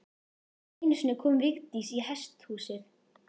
Einu sinni kom Vigdís í hesthúsið.